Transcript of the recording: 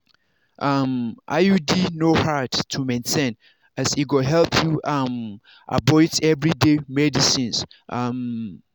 um iud no hard to maintain as e go help you um avoid everyday medicines. um